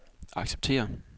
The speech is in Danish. acceptere